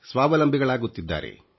ಸ್ವಾವಲಂಬಿಗಳಾಗುತ್ತಿದ್ದಾರೆ